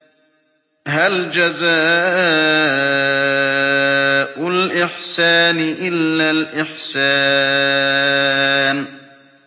هَلْ جَزَاءُ الْإِحْسَانِ إِلَّا الْإِحْسَانُ